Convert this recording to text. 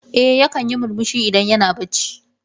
Eh yakan yi murmushi idan yana bacci.